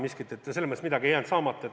Midagi ei jäänud saamata.